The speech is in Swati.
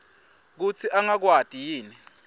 kutsi angakwati yini